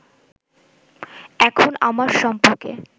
এখন আমার সম্পর্কে